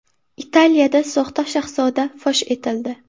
Italiyada soxta shahzoda fosh etildi.